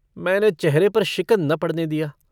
मैंने चेहरे पर शिकन न पड़ने दिया।